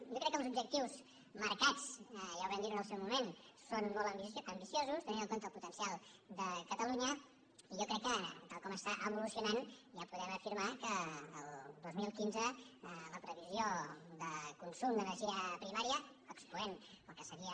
jo crec que els objectius marcats ja ho vam dir en el seu moment són molt ambiciosos tenint en compte el potencial de catalunya i jo crec que tal com està evolucionant ja podem afirmar que el dos mil quinze la previsió de consum d’energia primària excloent el que seria